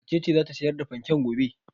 Wace ce za ta sayar da fanken gobe?